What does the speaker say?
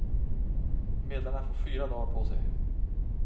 Medlarna får fyra dagar på sig.